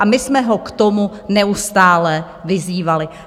A my jsme ho k tomu neustále vyzývali.